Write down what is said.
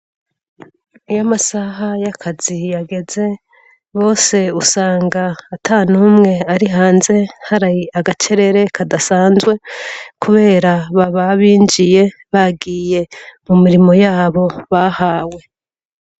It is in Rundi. Iy'amasaha ya kazi yageze, bose usanga ata n'umwe ari hanze, hari agacerere kadasanzwe, kubera baba binjyebagiye mu mirimo yabo bahawe.